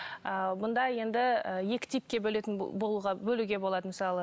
ы мында енді і екі типке бөлетін бөлуге болады мысалы